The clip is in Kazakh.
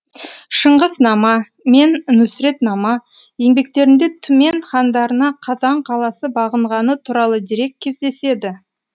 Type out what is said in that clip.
шыңғыснама мен нүсретнама еңбектерінде түмен хандарына қазан қаласы бағынғаны туралы дерек кездеседі